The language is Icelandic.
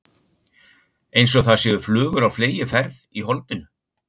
Einsog það séu flugur á fleygiferð í holdinu.